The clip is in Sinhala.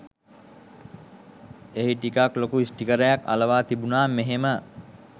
එහි ටිකක් ලොකු ස්ටිකරයක් අලවා තිබුණා මෙහෙම